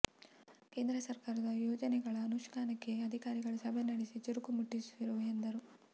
ಕೇಂದ್ರ ಸರಕಾರದ ಯೋಜೆನೆಗಳ ಅನುಷ್ಠಾನಕ್ಕೆ ಅಧಿಕಾರಿಗಳ ಸಭೆ ನಡೆಸಿ ಚುರುಕು ಮುಟ್ಟಿಸಿರುವೆ ಎಂದರು